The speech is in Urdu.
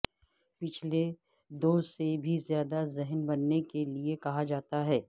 پچھلے دو سے بھی زیادہ ذہین بننے کے لئے کہا جاتا ہے